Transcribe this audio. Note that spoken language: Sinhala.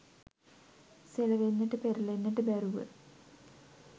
සෙලවෙන්නට පෙරළෙන්නට බැරුව